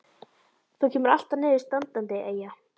Þú kemur alltaf niður standandi, Eyja.